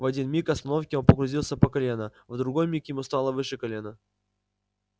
в один миг остановки он погрузился по колено в другой миг ему стало выше колена